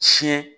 Siyɛn